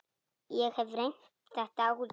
Ég hef reynt þetta áður.